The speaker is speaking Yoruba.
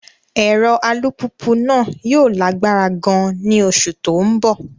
Ẹ̀rọ alùpùpù náà yóò lágbára gan-an ní oṣù tó ń bọ̀.